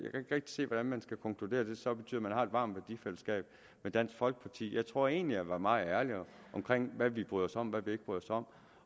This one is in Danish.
ikke rigtig se hvordan man skal konkludere at det så betyder at varmt værdifællesskab med dansk folkeparti jeg tror egentlig jeg var meget ærlig omkring hvad vi bryder os om og hvad vi ikke bryder os om